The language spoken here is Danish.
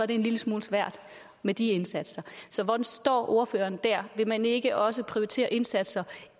det en lille smule svært med de indsatser så hvordan står ordføreren der vil man ikke også prioritere indsatser